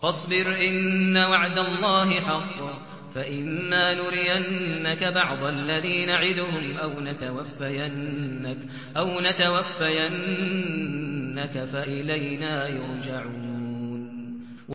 فَاصْبِرْ إِنَّ وَعْدَ اللَّهِ حَقٌّ ۚ فَإِمَّا نُرِيَنَّكَ بَعْضَ الَّذِي نَعِدُهُمْ أَوْ نَتَوَفَّيَنَّكَ فَإِلَيْنَا يُرْجَعُونَ